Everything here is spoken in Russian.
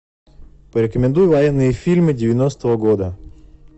порекомендуй военные фильмы девяностого года